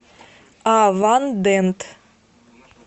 авандент